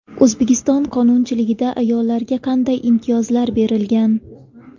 O‘zbekiston qonunchiligida ayollarga qanday imtiyozlar berilgan?